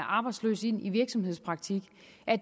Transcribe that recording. arbejdsløs ind i virksomhedspraktik